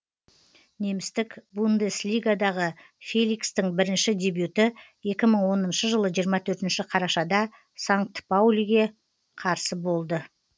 немістік бундеслигадағы феликстің бірінші дебюті екі мың оныншы жылы жиырма төртінші қарашада санкт паулиға қарсы болды